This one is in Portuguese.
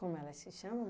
Como elas se chamam?